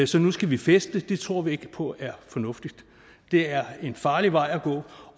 så nu skal vi feste tror vi ikke på er fornuftigt det er en farlig vej at gå